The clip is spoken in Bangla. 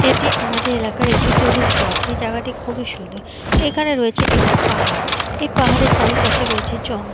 এটি আমাদের এলাকার একটি টুরিস্ট স্পট এ জাগাটি খুবই সুন্দর এখানে রয়েছে একটি পাহাড় এই পাহাড়ের চারিপাশে রয়েছে জঙ্--